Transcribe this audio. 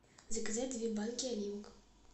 заказать две банки оливок